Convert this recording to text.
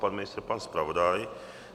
Pan ministr, pan zpravodaj?